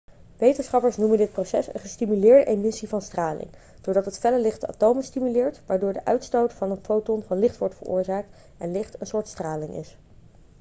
wetenschappers noemen dit proces een gestimuleerde emissie van straling' doordat het felle licht de atomen stimuleert waardoor de uitstoot van een foton van licht wordt veroorzaakt en licht een soort straling is